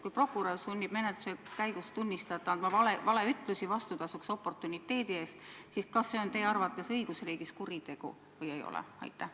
Kui prokurör sunnib menetluse käigus tunnistajat andma valeütlusi vastutasuks oportuniteedi eest, siis kas see on teie arvates õiguriigis kuritegu või ei ole?